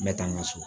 N bɛ taa n ka so